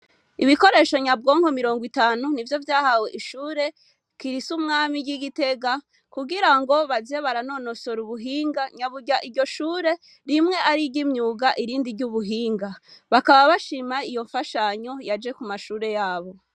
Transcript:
Ibikoresho nyabwonko miringo itanu nivyo vyahawe ishure kirisu mwami ryi Gitega kugirango baze baranonosora ubuhinga nyaburya iryo shure rimwe ariryimyuga irindi ryubuhinga bakaba bashima iyo mfashanyo yaje kumashure yabo.